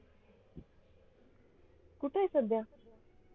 कुठे आहे सध्या?